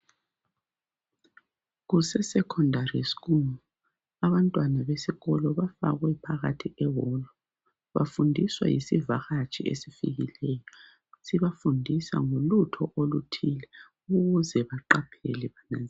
Kuse Secondary school abantwana besikolo bafakwe phakathi bebodwa bafundiswa yisivakatshi esifikileyo sibafundisa ngolutho oluthile ukuze baqaphele